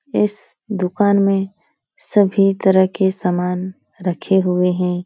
इस दुकान में सभी तरह के सामान रखे हुए हैं।